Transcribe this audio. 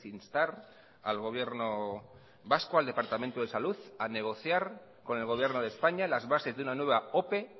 instar al gobierno vasco al departamento de salud a negociar con el gobierno de españa las bases de una nueva ope